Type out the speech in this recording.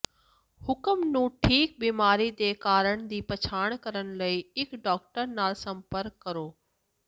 ਹੁਕਮ ਨੂੰ ਠੀਕ ਬੀਮਾਰੀ ਦੇ ਕਾਰਨ ਦੀ ਪਛਾਣ ਕਰਨ ਲਈ ਇੱਕ ਡਾਕਟਰ ਨਾਲ ਸੰਪਰਕ ਕਰੋ